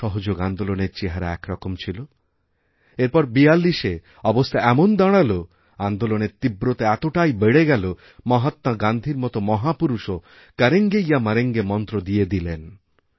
অসহযোগ আন্দোলনের চেহারা একরকম ছিল এরপর ৪২এ অবস্থা এমন দাঁড়ালোআন্দোলনের তীব্রতা এতটাই বেড়ে গেল যে মহাত্মা গান্ধীর মতো মহাপুরুষও করেঙ্গে ইয়ামরেঙ্গে মন্ত্র দিয়ে দিলেন